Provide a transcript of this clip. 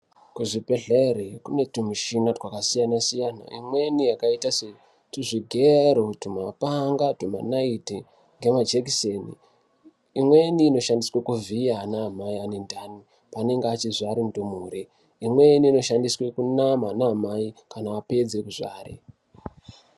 Kuzvibhedhlere kune tumishina twakasiyana-siyana. Imweni yakaita setuzvigero, tumapanga, tumanayiti ngemajekiseni. Imweni inoshandiswe kuvhiya anaamai ane ndani paanenge achizvare ndumure. Imweni inoshandiswe kunama vanaamai kana apedze kuzvare.